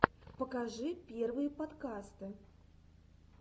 покажи первые подкасты